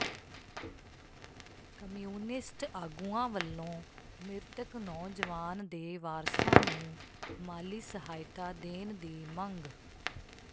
communist ਆਗੂਆਂ ਵੱਲੋਂ ਮਿ੍ਰਤਕ ਨੌਜਵਾਨ ਦੇ ਵਾਰਸਾਂ ਨੂੰ ਮਾਲੀ ਸਹਾਇਤਾ ਦੇਣ ਦੀ ਮੰਗ